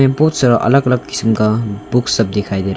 ये बहुत सारा अलग अलग किस्म का बुक्स सब दिखाई दे रहा है।